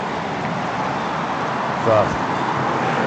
царство